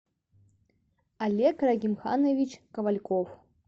олег рагимханович ковальков